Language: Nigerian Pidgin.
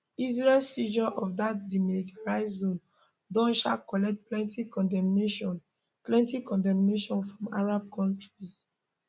israel seizure of dat demilitarised zone don um collect plenti condemnation plenti condemnation from arab kontris